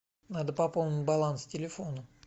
надо пополнить баланс телефона